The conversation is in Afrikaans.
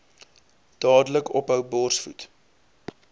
dadelik ophou borsvoed